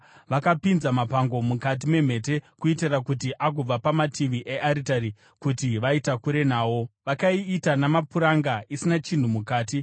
Vakapinza mapango mukati memhete kuitira kuti agova pamativi earitari, kuti vaitakure nawo. Vakaiita namapuranga, isina chinhu mukati.